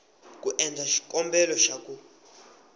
ku endla xikombelo xa ku